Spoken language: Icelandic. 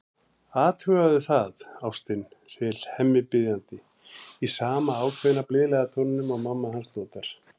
Athugaðu það, ástin, segir Hemmi biðjandi, í sama ákveðna, blíðlega tóninum og mamma hans notar.